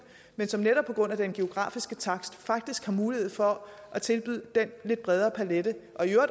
men som netop på grund af den geografiske takst faktisk har mulighed for at tilbyde den lidt bredere palet